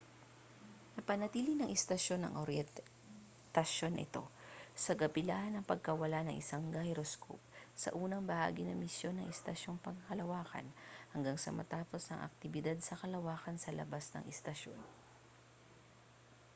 napanatili ng istasyon ang oryentasyon nito sa kabila ng pagkawala ang isang gyroscope sa unang bahagi ng misyon ng istasyong pangkalawakan hanggang sa matapos ang aktibidad sa kalawakan sa labas ng istasyon